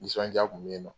Nisɔndiya kun bɛ yen nɔ